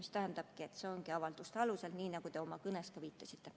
See ongi avalduste alusel, nii nagu te viitasite.